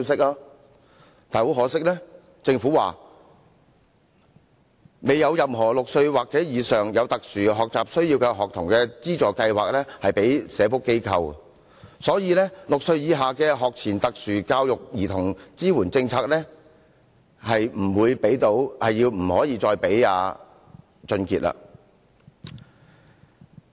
但很可惜，政府說未有任何6歲或以上有特殊學習需要的學童資助計劃適用於社福機構，所以6歲以下的學前特殊教育兒童支援政策不再適用於王俊傑。